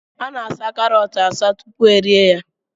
Ana-asaa karọt asaa tupu erie ya